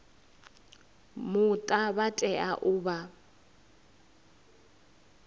muta vha tea u vha